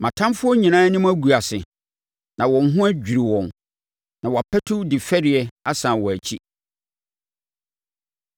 Mʼatamfoɔ nyinaa anim bɛgu ase na wɔn ho adwiri wɔn; na wɔapatu de fɛreɛ asane wɔn akyi.